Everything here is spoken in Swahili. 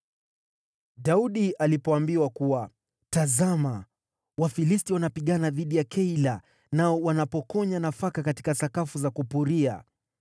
Daudi alipoambiwa kuwa, “Tazama, Wafilisti wanapigana dhidi ya Keila nao wanapokonya nafaka katika sakafu za kupuria,”